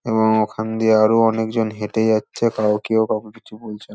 এবং ওখান দিয়ে আরো অনেক জন হেটে যাচ্ছে তও কেউ কাউকে কিছু বলছে না |